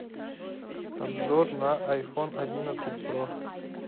обзор на айфон одиннадцать про